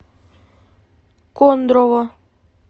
кондрово